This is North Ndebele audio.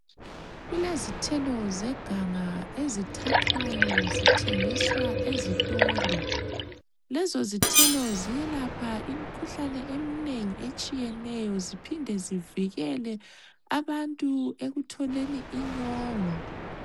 Kulezithelo zeganga ezithathwayo zithengiswa ezitolo lezo, zithelo ziyelapha imikhuhlane eminengi etshiyeneyo ziphinde zivikele abantu ekutholeni inyongo.